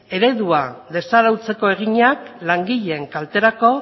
eredua desarautzeko eginak langileen kalterako